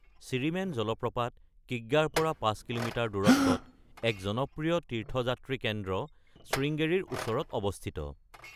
চিৰিমেন জলপ্ৰপাত কিগ্গাৰ পৰা ৫ কিলোমিটাৰ দূৰত্বত, এক জনপ্ৰিয় তীৰ্থযাত্ৰী কেন্দ্ৰ স্ৰিংগেৰীৰ ওচৰত অৱস্থিত।